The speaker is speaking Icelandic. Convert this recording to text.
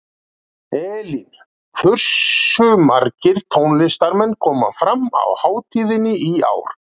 Elín, hversu margir tónlistarmenn koma fram á hátíðinni í ár?